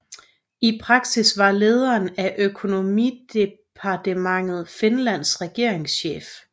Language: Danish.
I praksis var lederen af økonomidepartementet Finlands regeringschef